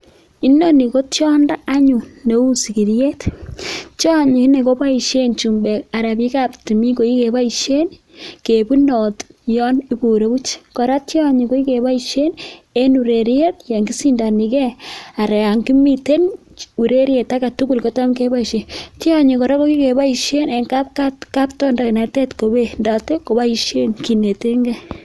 Inoni ko tiondo anyun neu sikiriet, tionyi inee kopoishe chumbek anan biikab timin, koi kepoishe kebunati yon koroch, kora tionyi koi kepoishe eng ureriet yon kishindanike anan yon kimiten ureriet age tugul kotam kepoishe. Tionyi kora ko kikepoishe eng kaptondainet kewendote kopoishen kinetenkei.